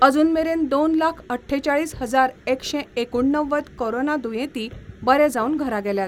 अजून मेरेन दोन लाख अठ्ठेचाळीस हजारएकशे एकुणणव्वद कोरोना दुयेंती बरे जावन घरा गेल्यात.